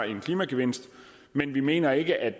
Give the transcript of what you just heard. en klimagevinst men vi mener ikke at